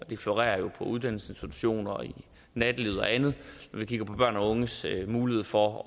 det florerer på uddannelsesinstitutioner og i nattelivet og andet når vi kigger på børn og unges mulighed for